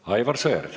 Aivar Sõerd.